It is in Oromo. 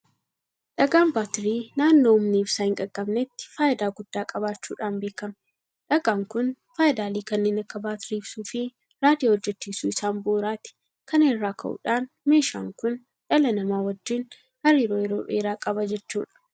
Dhagaan baatirii naannoo humni ibsaa hin qaqqabnetti faayidaa guddaa qabaachuudhaan beekama. Dhagaan kun faayidaalee kanneen akka baatirii ibsuufi Raadiyoo hojjechiisuu isaan bu'uuraati. Kana irraa ka'uudhaan meeshaan kun dhala namaa wajjin hariiroo yeroo dheeraa qaba jechuudha.